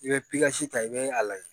I bɛ ta i bɛ a lajɛ